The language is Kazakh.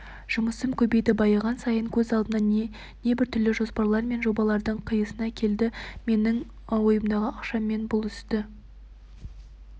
жұмысым көбейді байыған сайын көз алдыма небір түрлі жоспарлар мен жобалардың қисыны келді менің ойымдағы ақшамен бұл істі